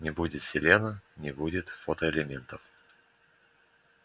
не будет селена не будет фотоэлементов